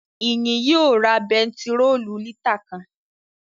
Ìyìn yóò ra bentiróòlù lítà kan